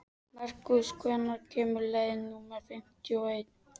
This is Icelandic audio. Merkúr, hvenær kemur leið númer fimmtíu og eitt?